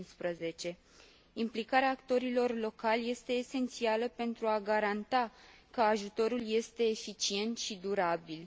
15. Implicarea actorilor locali este esențială pentru a garanta că ajutorul este eficient și durabil.